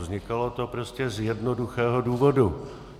Vznikalo to prostě z jednoduchého důvodu.